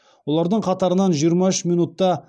олардың қатарынан жиырма үш минутта